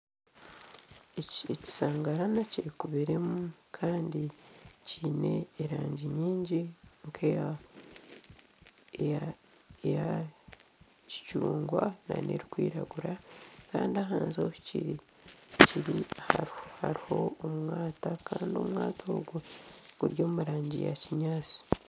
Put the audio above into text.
Ekisangarana kyekubiremu Kandi kyine erangi nyingi nk'eya kicungwa n'erikwiragura Kandi ahansi ahikiri hariho omwata Kandi omwata ogwo guri omurangi ya kinyaatsi.